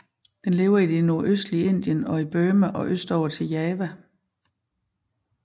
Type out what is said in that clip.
Den lever i det nordøstlige Indien og i Burma og østover til Java